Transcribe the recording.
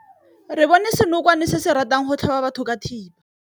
Re bone senokwane se se ratang go tlhaba batho ka thipa.